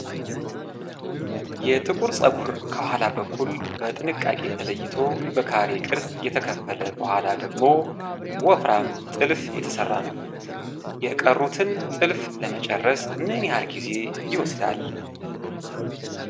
የጥቁር ፀጉር ከኋላ በኩል በጥንቃቄ ተለይቶ በካሬ ቅርጽ ከተከፈለ በኋላ ወደ ወፍራም ጥልፍ እየተሰራ ነው። የቀሩትን ጥልፍ ለመጨረስ ምን ያህል ጊዜ ይወስዳል?